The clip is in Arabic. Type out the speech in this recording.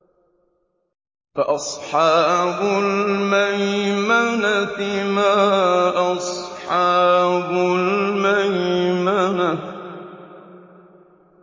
فَأَصْحَابُ الْمَيْمَنَةِ مَا أَصْحَابُ الْمَيْمَنَةِ